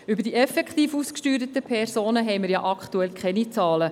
Über die effektiv ausgesteuerten Personen haben wir ja aktuell keine Zahlen.